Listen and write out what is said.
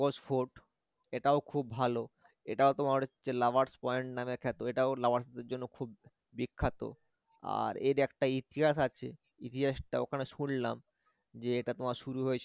mogos fort এটাও খুব ভালো এটাও তোমার হচ্ছে lover's point নামে খ্যাত এটাও lovers দের জন্য খুব বিখ্যাত আর এর একটা ইতিহাস আছে ইতিহাসটা ওখানে শুনলাম যে এটা তোমার শুরু হয়েছে